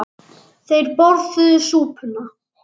Þeir borðuðu súpuna.